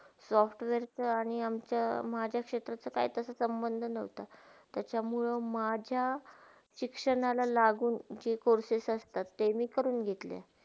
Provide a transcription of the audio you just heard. software चा आणि अमचा माझा क्षेत्राचा काही तसा संबंध नव्हता. त्यामुळे माझा शिक्षणला लागून झे courses असतात ते मी कडून घेतले.